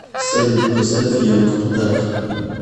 салют поставь янг птах